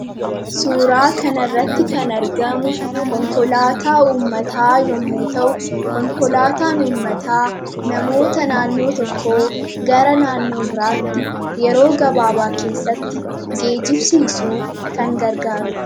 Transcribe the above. Suuraa kanarratti kan argamu konkolaataa uummataa yommuu ta'u, konkolaataan uummataa namoota naannoo tokkoo gara naannoo biraatti yeroo gabaabaa keessatti geejjibsiusuuf kan gargaarudha.